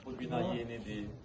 Bax bu bina yenidir,